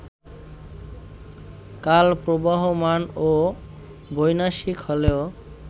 কাল প্রবহমান ও বৈনাশিক হলেও